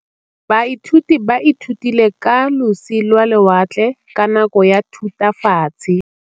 Baithuti ba ithutile ka losi lwa lewatle ka nako ya Thutafatshe.